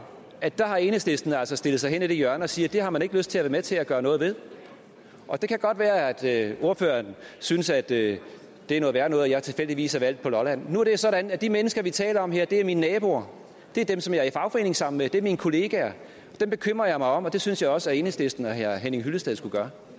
at der har enhedslisten altså stillet sig hen i et hjørne og siger at det har man ikke lyst til at være med til at gøre noget ved og det kan godt være at ordføreren synes at det er noget værre noget at jeg tilfældigvis er valgt på lolland men nu er det sådan at de mennesker vi taler om her er mine naboer det er dem som jeg er i fagforening sammen med det er mine kollegaer og dem bekymrer jeg mig om og det synes jeg også at enhedslisten og herre henning hyllested skulle gøre